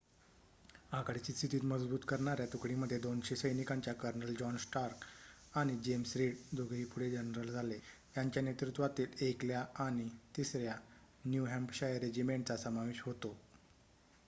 आघाडीची स्थिती मजबूत करणाऱ्या तुकडीमध्ये 200 सैनिकांच्या कर्नल जॉन स्टार्क आणि जेम्स रीड दोघेही पुढे जनरल झाले यांच्या नेतृत्वातील 1 ल्या आणि 3 -या न्यू हॅम्पशायर रेजिमेंटचा समावेश होतो,